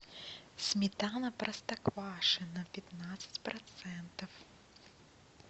сметана простоквашино пятнадцать процентов